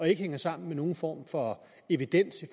ikke hænger sammen med nogen form for evidens i